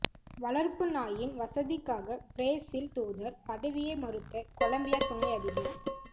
வளர்ப்புநாயின் வசதிக்காக பிரேசில் தூதர் பதவியை மறுத்த கொலம்பியா துணை அதிபர்